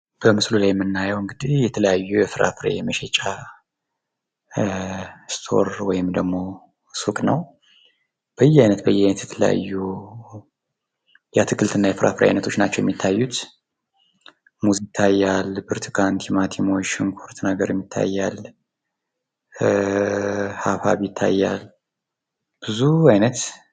በምስሉ ላይ የምናየው እንግዲህ የተለያዩ የፍራፍሬ መሸጫ ስቶር ወይም ደግሞ ሱቅ ነው። በየአይነት በየአይነት የተለያዩ የአትክልት እና የፍራፍሬ አይነቶች ናቸው የሚታዩት። ሙዝ ይታያል ፣ብርቱካን፣ ቲማቲሞች፣ ሽንኩርት ነገርም ይታያል ፣ሀብሀብ ይታያል። ብዙ አይነት...